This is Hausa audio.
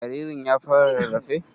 Jaririn ya fara rarrafe?